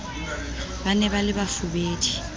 ba ne ba le bafubedi